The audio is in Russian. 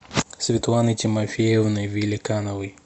светланой тимофеевной великановой